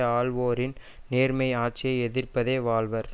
ஆளுவோரின் நேர்மையான ஆட்சியை எதிர்பதே வாழ்வர்